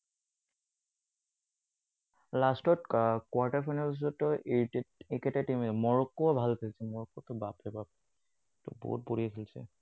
Last ত quarter final ৰ পিছততো এইকেইটা team এ। মৰক্কো ও ভাল খেলিছে, মৰক্বতো বাপ ৰে বাপ। এইটো বহুত বঢ়িয়া খেলিছে।